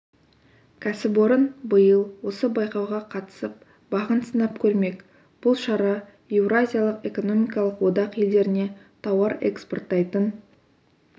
кәсіпорын биыл осы байқауға қатысып бағын сынап көрмек бұл шара еуразиялық экономикалық одақ елдеріне тауар экспорттайтын